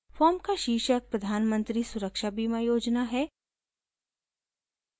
form का शीर्षक प्रधान मंत्री सुरक्षा बीमा योजना है